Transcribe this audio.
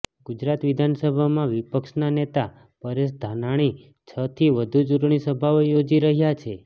ગુજરાત વિધાનસભામાં વિપક્ષના નેતા પરેશ ધાનાણી છથી વધુ ચૂંટણી સભાઓ યોજી રહ્યા છે